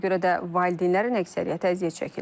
ona görə də valideynlərin əksəriyyəti əziyyət çəkirlər.